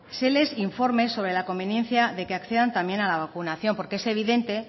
se les informe sobre la conveniencia de que accedan también a la vacunación porque es evidente